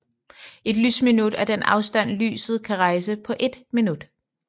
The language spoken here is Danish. Et lysminut er den afstand lyset kan rejse på ét minut